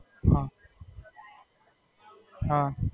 હાં.